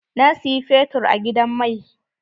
Na siyi fetur a gidan mai.